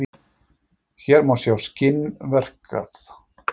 Hér má sjá skinn verkað.